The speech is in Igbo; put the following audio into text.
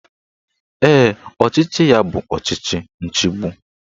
Ee, ọchịchị ya bụ ọchịchị nchigbu